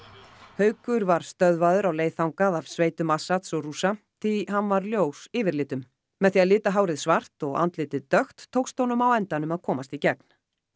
haukur var stöðvaður á leið þangað af sveitum Assads og Rússa því hann var ljós yfirlitum með því að lita hárið svart og andlitið dökkt tókst honum á endanum að komast í gegn